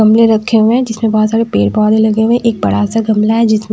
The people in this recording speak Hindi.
गमले रखे हुए हे जिस में बहोत सारे पेड़ पोधे लगे हुए हें एक बड़ा सा गमला हे जिस में --